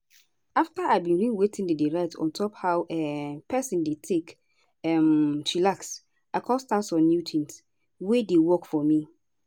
afta i bin read wetin dem write on top how um peson dey take um chillax i com start some new tins wey dey work for me.